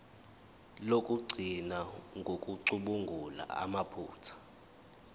lokugcina ngokucubungula amaphutha